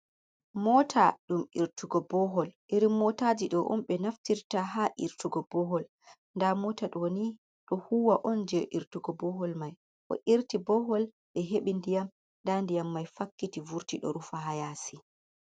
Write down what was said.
"Mota" ɗum irtugo bohol iri motaji ɗo on be naftirta ha irtugo bohol. Nda mota ɗo ni ɗo huwa on je irtugo bohol mai o irti bohol ɓe heɓi ndiyam, nda ndiyam mai fakkiti vurti ɗo rufa ha yaasi.